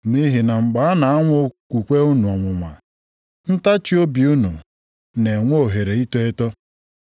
Nʼihi na mgbe a na-anwa okwukwe unu ọnwụnwa, ntachiobi unu na-enwe ohere ito eto.